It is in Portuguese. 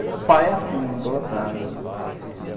Era pai assim, idolatrado, né.